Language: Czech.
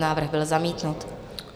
Návrh byl zamítnut.